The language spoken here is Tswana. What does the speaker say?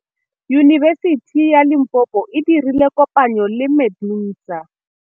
Yunibesiti ya Limpopo e dirile kopanyô le MEDUNSA.